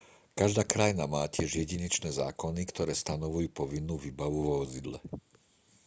každá krajina má tiež jedinečné zákony ktoré stanovujú povinnú výbavu vo vozidle